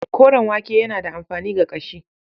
Koren wake yana da amfani ga ƙashi.